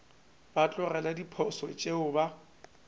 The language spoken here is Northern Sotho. ba tlogele diposo tšeo ba